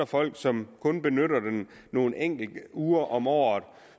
folk som kun benytter dem nogle enkelte uger om året og